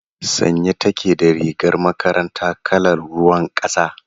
Sanye take da rigar makaranta kalar ruwan kasa.